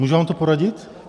Můžu vám to poradit?